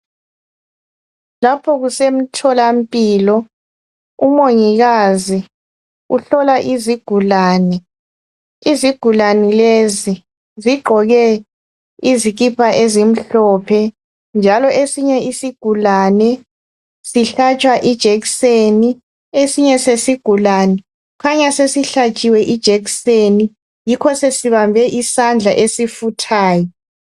Lapho kuse mtholampilo umongikazi uhlola izigulane, izigulane lezi zigqoke izikipa ezimhlophe njalo esinye isigulane sihlatshwa ijekiseni esinye sesigulane kukhanya sesihlatshiwe ijekiseni yikho sesibambe isandla esifuthayo.